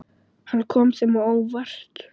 Hann kom þeim á óvart.